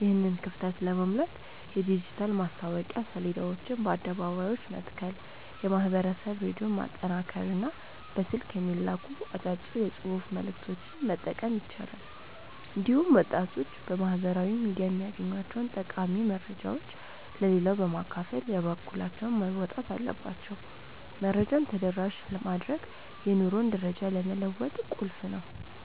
ይህንን ክፍተት ለመሙላት የዲጂታል ማስታወቂያ ሰሌዳዎችን በአደባባዮች መትከል፣ የማኅበረሰብ ሬዲዮን ማጠናከርና በስልክ የሚላኩ አጫጭር የጽሑፍ መልዕክቶችን መጠቀም ይቻላል። እንዲሁም ወጣቶች በማኅበራዊ ሚዲያ የሚያገኟቸውን ጠቃሚ መረጃዎች ለሌላው በማካፈል የበኩላቸውን መወጣት አለባቸው። መረጃን ተደራሽ ማድረግ የኑሮ ደረጃን ለመለወጥ ቁልፍ ነው።